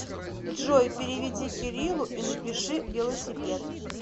джой переведи кириллу и напиши велосипед